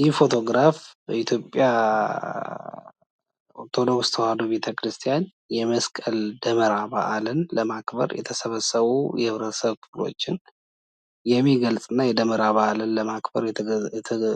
ይህ ፎቶግራፍ የኢትዮጵያ ኦርቶዶክስ ተዋህዶ ቤተክርስቲያን የመስቀል ደመራ በአልን ለማክበር የተሰበሰቡ የህብረተሰብ ክፍሎችን የሚገልጽ እና የደመራ በአልን ለማክበር